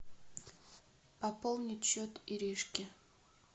пополнить счет иришки